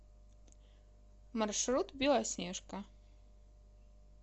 маршрут белоснежка